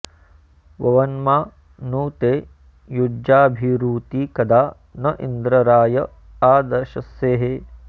ववन्मा नु ते युज्याभिरूती कदा न इन्द्र राय आ दशस्येः